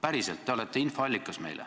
Päriselt, teie olete meie infoallikas.